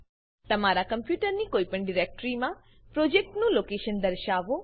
તમારા કંપ્યુટરની કોઈપણ ડાયરેક્ટરી ડીરેક્ટરીમાં પ્રોજેક્ટનું લોકેશન દર્શાવો